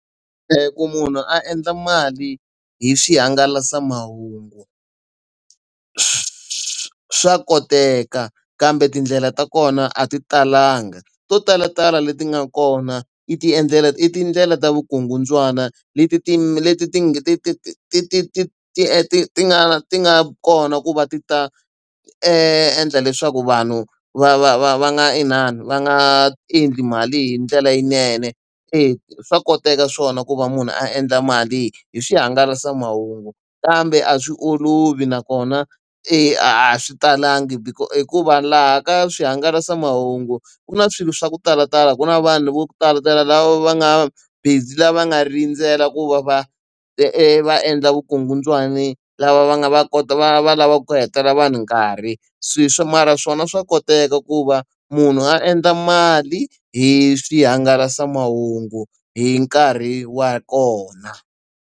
Ku munhu a endla mali hi swihangalasamahungu swa koteka kambe tindlela ta kona a ti talanga, to talatala leti nga kona i i tindlela ta vukungundzwana leti ti leti ti ti ti ti ti ti ti ti ti ti nga ti nga kona ku va ti ta endla leswaku vanhu va va va va nga inani va nga endli mali hi ndlela yinene. E swa koteka swona ku va munhu a endla mali hi swihangalasamahungu kambe a swi olovi nakona a swi talangi. hikuva laha ka swihangalasamahungu, ku na swilo swa ku talatala ku na vanhu vo talatala lava va nga busy lava nga rindzela ku va va va endla vukungundzwani lava va nga va va va lavaka ku hetelela vanhu nkarhi. mara swona swa koteka ku va munhu a endla mali hi swihangalasamahungu hi nkarhi wa kona.